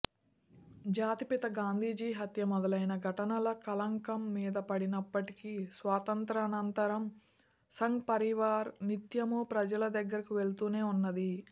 జాతిపిత గాంధీజీ హత్య మొదలైన ఘటనల కళంకం మీదపడినప్పటికీ స్వాతంత్ర్యానంతరం సంఘ్ పరివార్ నిత్యమూ ప్రజల దగ్గరకు వెళుతూనే వున్నది